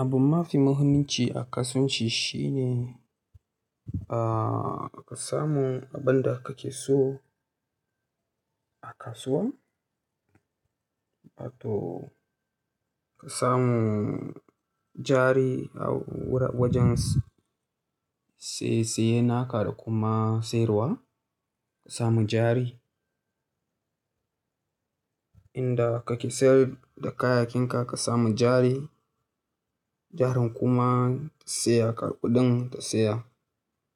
Abu mafi muhimmanci a kasuwanci shine, ahhh ka samu abin da kake so a kasuwa, wa to ka samu jari a wur-- wajen siye-siyena ka da kuma sayarwa ka samu jari. Inda kake sayar da kayayyakin ka ka samu jari, jarin kuma ta tsaya ka, kuɗin ta tsaya.